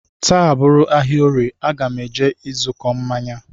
Taa bụrụ ahịa orie, aga m eje ịzụkọ mmanya